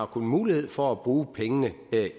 kun mulighed for at bruge pengene